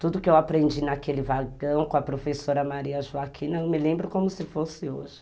Tudo que eu aprendi naquele vagão com a professora Maria Joaquina, eu me lembro como se fosse hoje.